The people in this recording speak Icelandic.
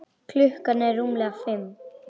Klukkan var rúmlega fimm.